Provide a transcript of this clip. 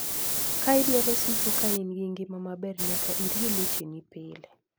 Ka idwaro siko ka in gi ngima maber, nyaka irie lecheni pile.